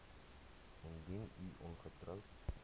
indien u ongetroud